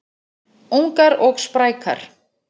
Ungar og sprækar